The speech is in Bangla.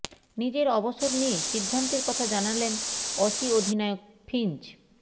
নিজের অবসর নিয়ে সিদ্ধান্তের কথা জানালেন অসি অধিনায়ক ফিঞ্চ